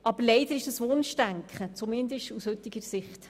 Aber leider ist das Wunschdenken, zumindest aus heutiger Sicht.